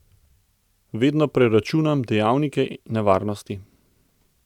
Vedno preračunam dejavnike nevarnosti.